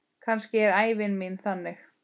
Kannski er ævi mín þannig.